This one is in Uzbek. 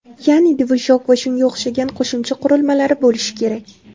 Ya’ni, ‘dvijok’ va shunga o‘xshagan qo‘shimcha qurilmalari bo‘lish kerak.